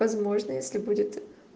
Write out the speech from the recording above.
возможно если будет